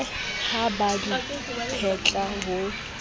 ha ba di phetle ho